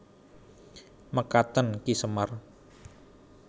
Mekaten Ki Semar